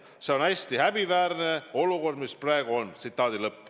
See on hästi häbiväärne olukord, mis praegu on.